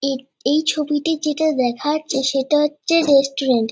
এই এই ছবিটি যেটা দেখা যাচ্ছে সেটা হচ্ছে রেস্টুরেন্ট ।